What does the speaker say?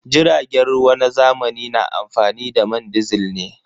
Jiragen ruwa na zamani na amfani da man disil ne.